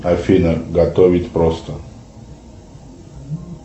афина готовить просто